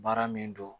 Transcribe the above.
Baara min don